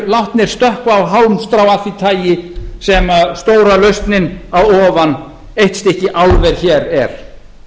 látnir stökkva á hálmstrá af því tagi sem stóra lausnin að ofan eitt stykki álver hér er